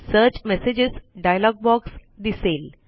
search messages dialog box दिसेल